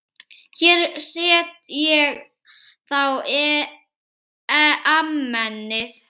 Hér set ég þá Amenið.